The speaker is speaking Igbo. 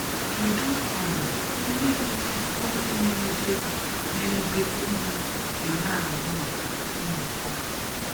Kedu um ihe mere onye na-ede na-ede ozi ji na-ahụ maka nnọkọ?